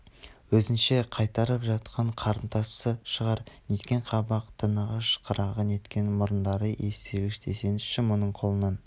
өзінше қайтарып жатқан қарымтасы шығар неткен қабақ танығыш қырағы неткен мұрындары иіс сезгіш десеңші мұның қолынан